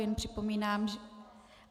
Jen připomínám -